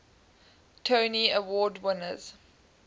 tony award winners